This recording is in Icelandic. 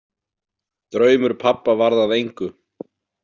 Draumur pabba varð að engu.